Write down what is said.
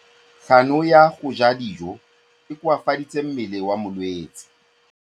Kganô ya go ja dijo e koafaditse mmele wa molwetse.